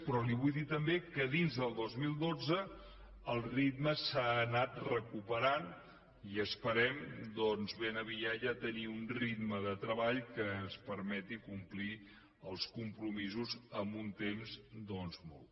però li vull dir també que dins del dos mil dotze el ritme s’ha anat recuperant i esperem doncs ben aviat ja tenir un ritme de treball que ens permeti complir els compromisos en un temps molt curt